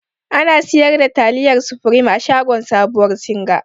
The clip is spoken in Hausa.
Ana sigar da taliyar supreme a shagon sabuwar singa.